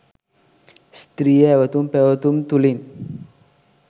ස්ත්‍රිය ඇවැතුම් පැවැතුම් තුළින්